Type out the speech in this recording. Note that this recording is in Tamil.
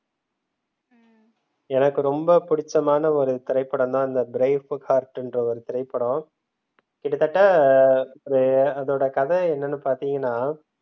எனக்கு ரொம்ப பிடிச்சமான ஒரு திரைப்படம் தான் அந்த brave heart என்ற ஒரு திரைப்படம் கிட்டத்தட்ட அதோட கதை என்னன்னு பாத்தீங்கன்னா